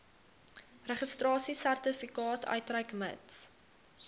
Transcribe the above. registrasiesertifikaat uitreik mits